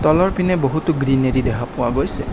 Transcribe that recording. তলৰ পিনে বহুতো গ্ৰিনেৰি দেখা পোৱা গৈছে।